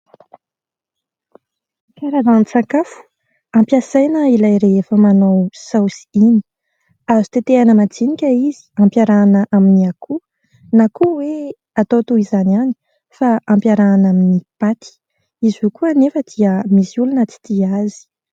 Karazan-tsakafo ampiasaina ilay rehefa manao saosy iny, azo tetehana madinika izy ampiarahana amin'ny akoho na koa hoe atao toy izany ihany fa ampiarahana amin'ny paty, izy io koa anefa dia misy olona tsy tia azy.